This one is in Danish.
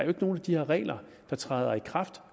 er nogen af de her regler der træder i kraft